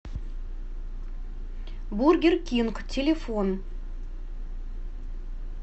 бургер кинг телефон